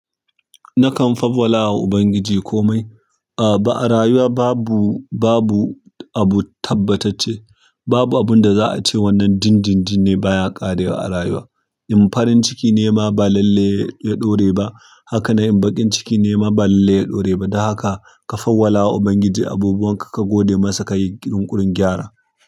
Nakan fawwalawa ubangiji komai ah ba a rayuwa babu, babu abu tabbatacce. Babu abin da za'a ce wannan din, din, din ne baya ƙarewa a rayuwa. In farin ciki nema ba lalle ya ɗore ba. Haka nan, in baƙin ciki nema ba lalle ya ɗore ba. Don haka, ka fawwalawa ubangiji abubuwanka, ka gode masa, kayi yunƙurin gyara.